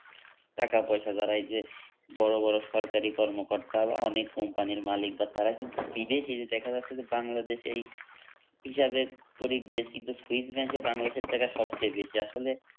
টাকা পয়সা যারা এই যে বড়োবড়ো সরকারি কর্মকর্তা বা অনেক কোম্পানির মালিক বা তারা কিন্তু বিদেশে দেখা যাচ্ছে যে বাংলাদেশ এই হিসাবে গরিব দেশ কিন্তু সুইচব্যাংকে বাংলাদেশের টাকা সবচেয়ে বেশি আসলে